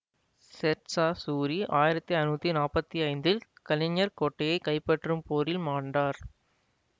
சேர் சா சூரி ஆயிரத்தி ஐநூத்தி நாப்பத்தி ஐந்தில் கலிஞ்சர் கோட்டையை கைப்பற்றும் போரில் மாண்டார்